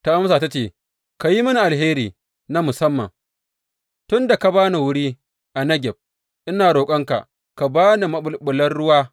Ta amsa ta ce, Ka yi mini alheri na musamman, tun da ka ba ni wuri a Negeb, ina roƙonka, ka ba ni maɓulɓulan ruwa.